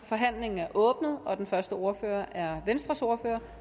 forhandlingen er åbnet og den første ordfører er venstres ordfører